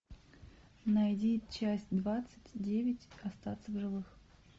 найди часть двадцать девять остаться в живых